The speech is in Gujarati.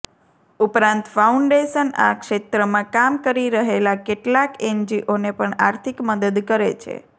ઉપરાંત ફાઉન્ડેશન આ ક્ષેત્રમાં કામ કરી રહેલા કેટલાક એનજીઓને પણ આર્થિક મદદ કરે છે